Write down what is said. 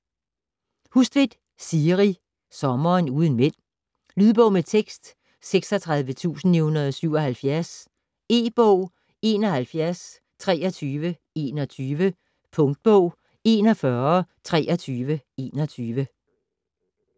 Hustvedt, Siri: Sommeren uden mænd Lydbog med tekst 36977 E-bog 712321 Punktbog 412321